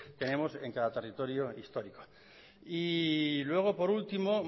tenemos en cada territorio histórico y luego por último